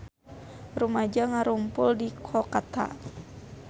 Rumaja ngarumpul di Kolkata